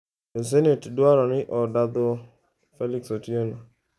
Jo senet dwaro ni oda dho Felix Otieno